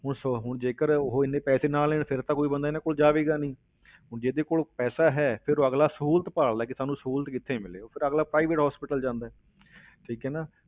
ਹੁਣ ਸੋ ਹੁਣ ਜੇਕਰ ਉਹ ਇੰਨੇ ਪੈਸੇ ਨਾ ਲੈਣ ਫਿਰ ਤਾਂ ਕੋਈ ਬੰਦਾ ਇਹਨਾਂ ਕੋਲ ਜਾਵੇਗਾ ਨਹੀਂ ਹੁਣ ਜਿਹਦੇ ਕੋਲ ਪੈਸਾ ਹੈ, ਫਿਰ ਉਹ ਅਗਲਾ ਸਹੂਲਤ ਭਾਲਦਾ ਹੈ ਕਿ ਸਾਨੂੰ ਸਹੂਲਤ ਕਿੱਥੇ ਮਿਲੇ, ਫਿਰ ਉਹ ਅਗਲਾ private hospital ਜਾਂਦਾ ਹੈ ਠੀਕ ਹੈ ਨਾ,